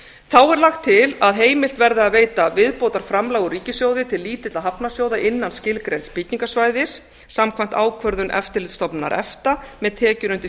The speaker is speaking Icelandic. þá er lagt til að heimilt verði að veita viðbótarframlög úr ríkissjóði til lítilla hafnarsjóða innan skilgreinds byggingasvæðis samkvæmt ákvörðun eftirlitsstofnunar efta með tekjur undir